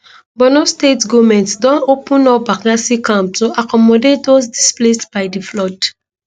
borno state goment don open up bakassi camp to accommodate dos displaced by di flood